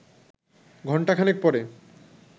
ঘণ্টা খানেক পরে